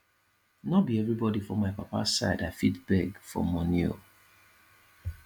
no be every body for my papa side i fit beg for money oo